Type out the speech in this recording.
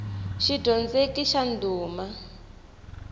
xidyondzeki xa ndhuma